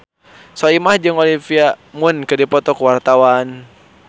Soimah jeung Olivia Munn keur dipoto ku wartawan